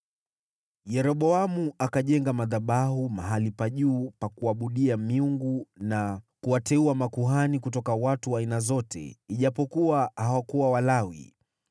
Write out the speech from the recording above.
Yeroboamu akajenga madhabahu mahali pa juu pa kuabudia miungu na kuwateua makuhani kutoka watu wa aina zote, ijapokuwa hawakuwa Walawi.